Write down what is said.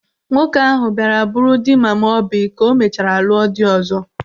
Nwoke ahụ bịara bụrụ dị mama Oby ka o mechara lụọ di ọzọ.